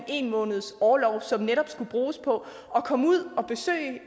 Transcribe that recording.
en måneds orlov som netop skulle bruges på at komme ud og besøge